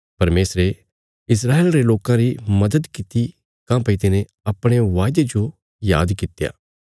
परमेशरे इस्राएल रे लोकां री मदद किति काँह्भई तिने अपणे वायदे जो याद कित्या